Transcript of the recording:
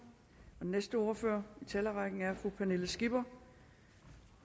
den næste ordfører i talerrækken er fru pernille skipper